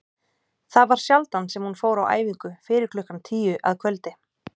Það var sjaldan sem hún fór á æfingu fyrir klukkan tíu að kvöldi.